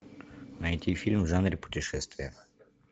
найти фильм в жанре путешествия